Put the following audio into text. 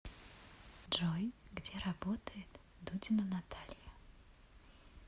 джой где работает дудина наталья